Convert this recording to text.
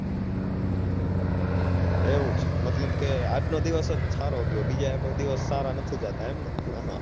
એવું છે મતલબ કે આજ નો દિવસ જ સારો ગયો બીજા કોઈ દિવસ સારા નથી જાતા એમ ને